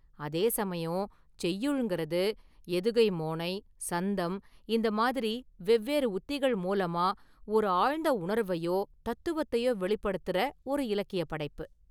அதே சமயம் செய்யுள்ங்கிறது, எதுகை மோனை, சந்தம், இந்த மாதிரி வெவ்வேறு உத்திகள் மூலமா ஒரு ஆழ்ந்த​ உணர்வையோ தத்துவத்தையோ வெளிப்படுத்துற ஒரு இலக்கியப் படைப்பு.